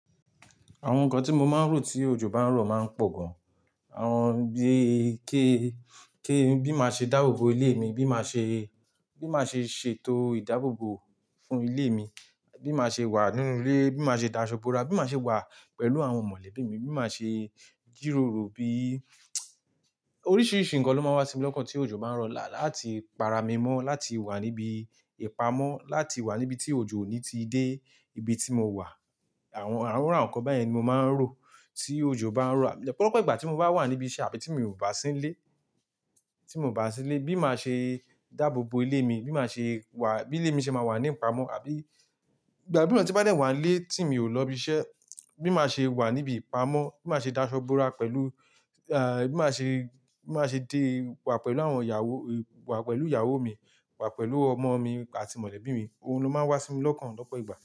Àwọn nǹkan tí mo máa ń rò tí òjò bá ń rọ̀ máa ń pọ̀ gan. Àwọn bí, kí, kí n bí máa ṣe dáàbò bo ilé mi, bí máa ṣe, bí máa ṣe ṣètò ìdáàbò bo fún ilé mi, bí máa ṣe wà nínú ilé, bí máa ṣe dáṣọ́ bora, bí máa ṣe wà pẹ̀lú àwọn mọ̀lẹ́bí mi, bí máa ṣe jìròrò bí Oríṣiríṣi nǹkan ló máa wá sí mi lọ́kàn tí òjò bá ń rọ, láti para mi mọ́, láti wà níbi ìpamọ́, láti wà níbi tí òjò ò ní ti dé ibi tí mo wà. Àwọn, àwọn iru awon nkan báyen ni mo máa ń rò tí òjò bá ń rọ. Ọ̀pọ̀lọpọ̀ ìgbà tí mo bá wà níbí iṣẹ́ àbí tí mi ò bá sílé, tí mo bá sílé, bí máa ṣe dáàbò bo ilé mi, bí máa ṣe wà, bí ilé mi ṣe máa wà ní ìpamọ́ àbí ìgbà mìíràn tí bá dẹ́ wà nlé tí mi ò lọ ibi iṣẹ́, bí máa ṣe wà níbi ìpamọ́, bí máa ṣe dáṣọ́ bora pẹ̀lú, ẹ́, bí máa ṣe, bí máa ṣe dé wà pẹ̀lú àwọn ìyàwó, wà pẹ̀lú ìyàwó mi, wà pẹ̀lú ọmọ mi àti mọ̀lẹ́bí mi. Ohun ló máa ń wá sí mi lọ́kàn lọ́pọ̀ ìgbà.